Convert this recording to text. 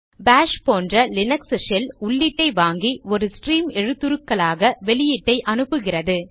bash போன்ற Linux shell உள்ளீட்டை வாங்கி ஒரு ஸ்ட்ரீம் எழுத்துருக்களாக வெளியீட்டை அனுப்புகிறது